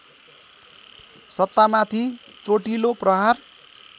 सत्तामाथि चोटिलो प्रहार